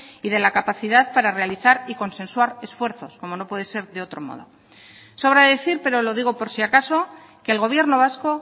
y de la capacidad para realizar y consensuar esfuerzos como no puede ser de otro modo sobra decir pero lo digo por si acaso que el gobierno vasco